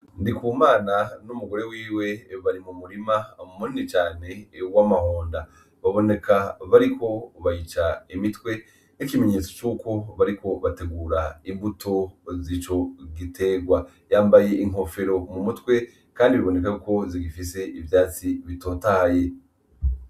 Ndikumana n'umugore wiwe bari m'umurima munini cane w'amahonda ,baboneka ko bariko bayica imitwe nk'ikimenyetso c 'uko bariko bategura imbuto z'ico giterwa yambaye inkofero m'umutwe Kandi biboneka zigifise ivyatsi bitotahaye.